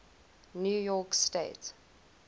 new york state